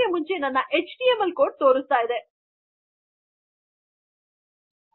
ಆದ್ದರಿಂದ ಇದು ಇಲ್ಲದಿದ್ದರೆ ನಮಗೆ ಎರ್ರರ್ ಪಾಸ್ ರುತ್ತದೆ ಮತ್ತು ಇದು ಇದ್ದರೆ ನಮ್ಮ ಹೆಡ್ಡರ್ಸ್ ಚೆನ್ನಾಗಿ ಕೆಲಸ ಮಾಡುತ್ತದೆ ಸರಿನಾ